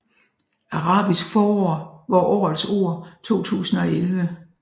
Arabisk forår var årets ord 2011